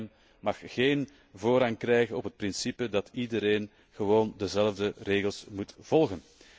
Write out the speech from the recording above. Het bankgeheim mag geen voorrang krijgen op het principe dat iedereen gewoon dezelfde regels moet volgen.